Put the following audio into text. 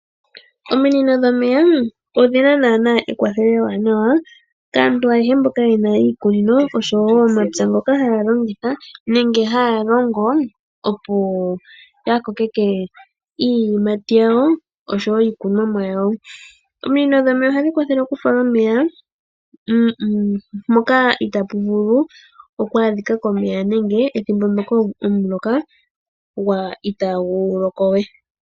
Ominino dhomeya odhina naana ekwathelo ewanawa kaantu ayehe mboka yena iikunino oshowo omapya. Ngoka haya longitha nenge haya longo opo ya kokeke iiyimati yawo oshowo iikunwamo yawo. Ominino dhomeya ohadhi kwathele oku fala omeya moka itaapu vulu oku adhika komeya nenge ethimbo ndjoka omuloka itaagu loko we.